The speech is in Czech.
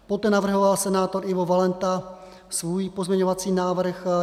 Poté navrhoval senátor Ivo Valenta svůj pozměňovací návrh.